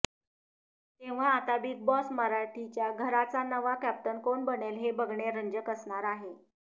तेव्हा आता Bigg Boss मराठीच्या घराचा नवा कॅप्टन कोण बनेल हे बघणे रंजक असणार आहे